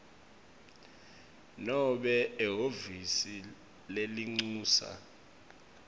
nobe ehhovisi lelincusa